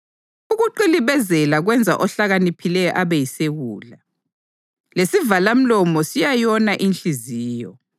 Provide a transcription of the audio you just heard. Ukuqilibezela kwenza ohlakaniphileyo abe yisiwula, lesivalamlomo siyayona inhliziyo.